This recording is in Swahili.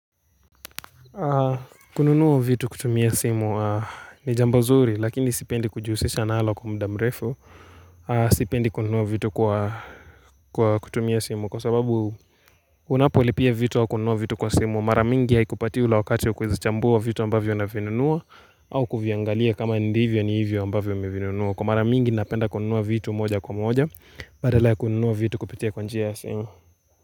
Kununua vitu kutumia simu ni jamba zuri lakini sipendi kujihusisha nalo kwa muda mrefu Sipendi kununua vitu kwa kutumia simu Kwa sababu unapolipia vitu wa kununua vitu kwa simu Mara mingi haikupatii ule wakati kuzichambua vitu ambavyo na unavinunua au kuviangalia kama ndivyo ni hivyo ambavyo umevinunua Kwa mara mingi napenda kununua vitu moja kwa moja Badala kununua vitu kupitia kwa njia ya simu.